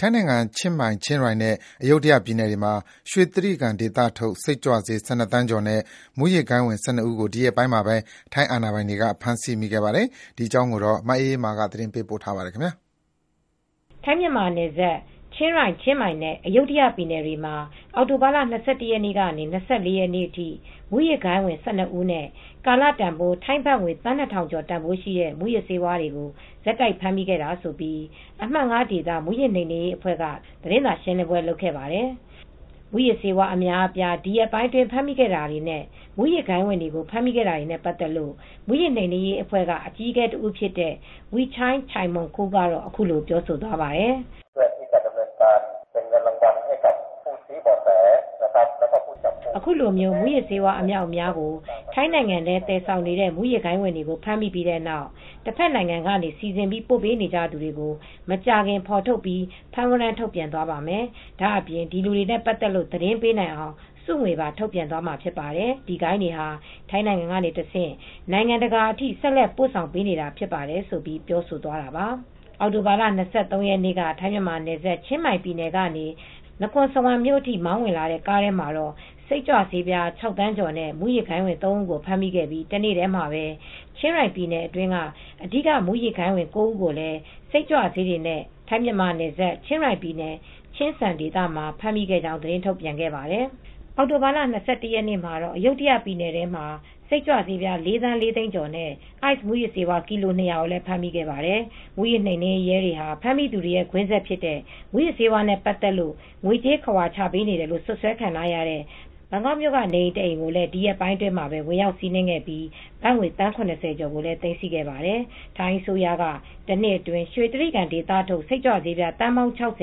ထိုင်းနိုင်ငံ ချင်းမိုင်၊ ချင်းရိုင်နဲ့ အယုဒ္ဓယပြည်နယ်တွေမှာ ရွှေတြိဂံဒေသထုတ် စိတ်ကြွဆေး ၁၂ သန်းကျော်နဲ့ မူးယစ်ဂိုဏ်းဝင် ၁၂ ဦးကို ဒီရက်ပိုင်းမှာပဲ ထိုင်းအာဏာပိုင်တွေက ဖမ်းဆီးခဲ့ပါတယ်။ အပြည့်အစုံကို ထိုင်းအခြေစိုက် ဗွီအိုအေမြန်မာပိုင်း သတင်းထောက် မအေးအေးမာ တင်ပြပေးထားပါတယ်။ ထိုင်း-မြန်မာနယ်စပ် ချင်းရိုင်၊ ချင်းမိုင်နဲ့ အယုဒ္ဓယပြည်နယ်တွေမှာ အောက်တိုဘာလ ၂၁ ရက်နေ့ကနေ ၂၄ ရက်နေ့အထိ မူးယစ်မှောင်ခိုဂိုဏ်းဝင် ၁၂ ဦးနဲ့ ကာလတန်ဖိုး ထိုင်းဘတ်ငွေ သန်း ၂,၀၀၀ ကျော်ရှိတဲ့ မူးယစ်ဆေးဝါးတွေကို ဆက်တိုက်ဖမ်းမိခဲ့တာ ဖြစ်တယ်လို့ အမှတ် ၅ ဒေသ မူးယစ်နှိမ်နင်းရေးအဖွဲ့ သတင်းစာရှင်းလင်းပွဲမှာ ထုတ်ပြန်သွားပါတယ်။ မူးယစ်ဆေးဝါး အများအပြား ရက်ပိုင်းအတွင်းမှာပဲ ဖမ်းမိခဲ့တာတွေနဲ့ မူူးယစ်ဂိုဏ်းဝင်တွေကို ဖမ်းမိခဲ့တာတွေနဲ့ ပတ်သက်လို့ မူးယစ်နှိမ်နင်းရေးအဖွဲ့က အကြီးအကဲတဦးဖြစ်တဲ့ Wichai Chaimongkol ကတော့ အခုလိုပြောသွားပါတယ်။ “အခုလို မူးယစ်ဆေးဝါး အမြောက်အမြားကို ထိုင်းနိုင်ငံထဲ သယ်ဆောင်နေတဲ့ မူးယစ်ဂိုဏ်းဝင်တွေကို ဖမ်းမိပြီးတဲ့နောက် တဖက်နိုင်ငံကနေ စီစဉ်ပြီး ပို့ပေးနေတဲ့သူတွေကို မကြာခင် ဖော်ထုတ်ပြီး ဖမ်းဝရမ်း ထုတ်ပြန်သွားပါမယ်။ ဒါ့အပြင် ဒီလူတွေနဲ့ပတ်သက်လို့ သတင်းပေးနိုင်အောင် ဆုငွေပါ ထုတ်ပြန်သွားမှာ ဖြစ်ပါတယ်။ ဒီဂိုဏ်းတွေဟာ ထိုင်းကနေတဆင့် နိုင်ငံတကာအထိ ဆက်လက်ပို့ဆောင် ပေးပို့နေတာဖြစ်တယ်။” ဆိုပြီး ပြောဆိုသွားတာပါ။ အောက်တိုဘာ ၂၃ ရက်နေ့က ထိုင်း-မြန်မာနယ်စပ် ချင်းမိုင်ပြည်နယ်က နကွန်စဝမ်မြို့အထိ မောင်းဝင်လာတဲ့ ကားထဲမှာတော့ စိတ်ကြွဆေး ၆ သန်းကျော်နဲ့ မူးယစ်ဂိုဏ်းဝင် ၃ ဦးကို ဖမ်းမိခဲ့ပြီး တနေ့တည်းမှာပဲ ချင်းရိုင်ပြည်နယ်အတွင်း အဓိက မူးယစ်ဂိုဏ်းဝင် ၉ ဦးကိုလည်း စိတ်ကြွဆေးတွေနဲ့ ထိုင်း-မြန်မာနယ်စပ် ချင်းရိုင်ပြည်နယ် ချင်းစန်ဒေသမှာ ဖမ်းမိခဲ့ကြောင်းလည်း သတင်းထုတ်ပြန်ခဲ့ပါတယ်။ အောက်တိုဘာလ ၂၁ ရက်နေ့ကတော့ အယုဒ္ဓယပြည်နယ်ထဲမှာ စိတ်ကြွဆေး ၄,၄၀၀,၀၀၀ ကျော်နဲ့ အိုက်စ်မူးယစ်ဆေး ကီလို ၂၀၀ ကို ဖမ်းမိခဲ့ပါတယ်။ မူးယစ်နှိမ်နင်းရေးရဲတွေဟာ ဖမ်းမိသူတွေရဲ့ ကွင်းဆက်ဖြစ်တဲ့ မူးယစ်ဆေးဝါးနဲ့ ပတ်သက်လို့ ငွေကြေးခဝါချပေးနေတယ်လို့ စွပ်စွဲခံရတဲ့ ဘန်ကောက်မြို့က နေအိမ်တအိမ်ကိုလည်း ဒီရက်ပိုင်းမှာပဲ ဝင်ရောက်စီးနင်းခဲ့ပြီး ဘတ်ငွေ သန်း ၇၀ ကျော်ကိုလည်း သိမ်းဆည်းခဲ့ပါတယ်။ ထိုင်းအစိုးရအနေနဲ့ တနှစ်အတွင်း ရွှေတြိဂံဒေသထုတ် စိတ်ကြွဆေးဝါး သန်းပေါင်း ၆၀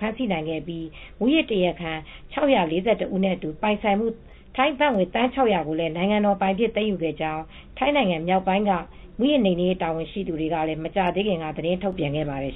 ဖမ်းဆီးနိုင်ခဲ့ပြီး မူးယစ်တရားခံ ၆၄၁ ဦးနဲ့အတူ ပိုင်ဆိုင်မှုတန်ဖိုး ဘတ်သန်း ၆၀၀ ကို နိုင်ငံတော်ပိုင် သိမ်းယူခဲ့ကြောင်း ထိုင်းနိုင်ငံမြောက်ပိုင်းက မူးယစ်နှိမ်နင်းရေး တာဝန်ရှိသူများကလည်း မကြာသေးခင်က သတင်းထုတ်ပြန်ခဲ့ပါတယ်